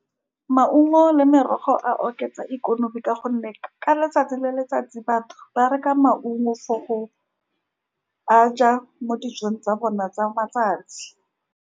Maungo le merogo a oketsa ikonomi, ka gonne ka letsatsi le letsatsi, batho ba reka maungo for go a ja mo dijong tsa bona tsa matsatsi.